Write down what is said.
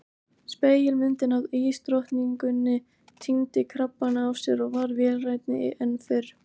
Spegilmyndin af ísdrottninguni týndi krabbana af sér og varð vélrænni en fyrr.